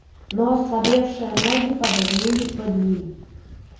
но ослабевшие ноги подогнулись под ним